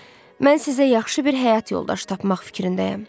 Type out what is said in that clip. Mən sizə yaxşı bir həyat yoldaşı tapmaq fikrindəyəm.